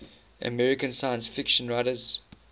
american science fiction writers